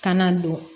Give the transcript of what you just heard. Kana don